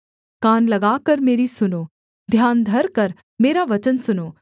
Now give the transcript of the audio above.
कान लगाकर मेरी सुनो ध्यान धरकर मेरा वचन सुनो